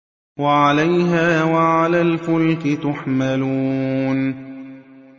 وَعَلَيْهَا وَعَلَى الْفُلْكِ تُحْمَلُونَ